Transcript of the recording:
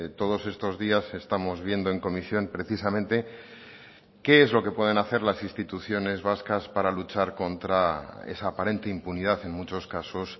todos estos días estamos viendo en comisión precisamente qué es lo que pueden hacer las instituciones vascas para luchar contra esa aparente impunidad en muchos casos